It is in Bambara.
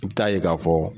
I bɛ taa ye k'a fɔ